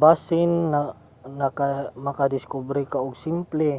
basin makadiskubre ka og simple